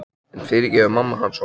En fyrirgefur mamma hans honum?